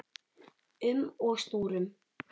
um og snúrum.